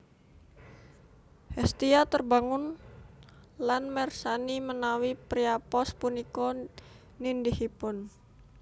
Hestia terbangun lan mersani menawi Priapos punika nindihipun